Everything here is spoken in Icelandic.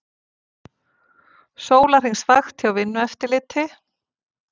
Sólarhringsvakt hjá Vinnueftirliti